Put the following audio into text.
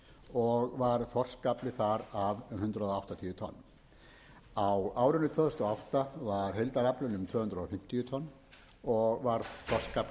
og var þorskafli þar af um hundrað áttatíu tonn á árinu tvö þúsund og átta var heildaraflinn um tvö hundruð fimmtíu tonn og var þorskafli þar